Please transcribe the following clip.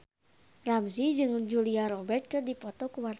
Ramzy jeung Julia Robert keur dipoto ku wartawan